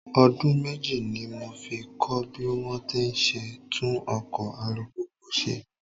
Ọdún méjì ní mo fi kọ́ bí wón ti ń ṣe tún ọkọ̀ alùpùpù ṣe.